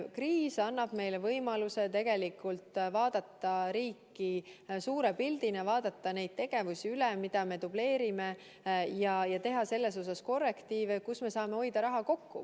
Kriis annab meile võimaluse vaadata riiki suure pildina, vaadata üle, milliseid tegevusi me dubleerime, ja teha korrektiive seal, kus me saame raha kokku hoida.